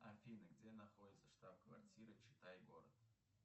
афина где находится штаб квартира читай город